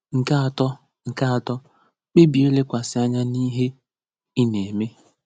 Nke atọ: Nke atọ: ‘Kpebie ilekwasị anya n’ihe ị na-eme'